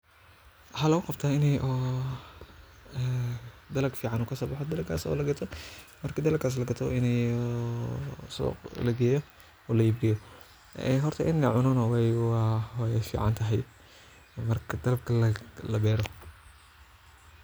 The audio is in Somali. Waxaa loo qabtaa inay oo ee dalag fiican oo kasoo baxay dalagas oo la gato. marki dalagaas la gato inay oo suq lageeyo oo la ibiyo ee horta in la cunaan oo ay waay fiican tahay marka dalaga la beero.